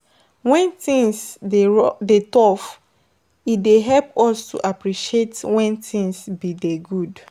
When things dey rough dey tough e dey help us to appreciate when things been dey good